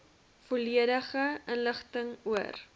volledige inligting oor